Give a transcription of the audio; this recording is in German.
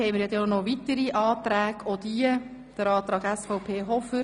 Es liegen noch weitere Anträge vor, die Anträge SVP Hofer.